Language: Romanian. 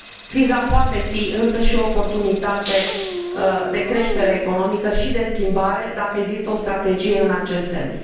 Criza poate fi, însă, și o oportunitate de creștere economică și de schimbare, dacă există o strategie în acest sens.